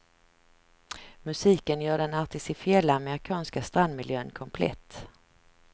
Musiken gör den artificiella amerikanska strandmiljön komplett.